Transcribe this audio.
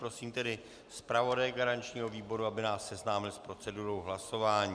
Prosím tedy zpravodaje garančního výboru, aby nás seznámil s procedurou hlasování.